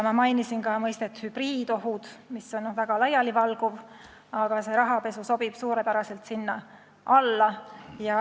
Ma mainisin ka mõistet "hübriidohud", mis on väga laialivalguv, aga rahapesu sobib suurepäraselt sinna alla.